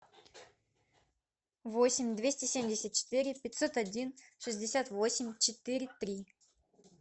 восемь двести семьдесят четыре пятьсот один шестьдесят восемь четыре три